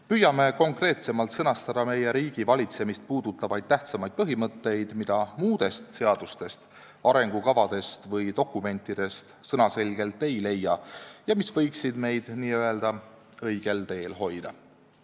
Püüame konkreetsemalt sõnastada meie riigivalitsemist puudutavaid tähtsamaid põhimõtteid, mida muudest seadustest, arengukavadest või dokumentidest sõnaselgelt ei leia ja mis võiksid meid n-ö õigel teel hoida.